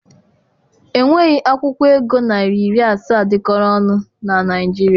Enweghị akwụkwọ ego naịra iri asaa dịkọrọ ọnụ na Naịjirịa.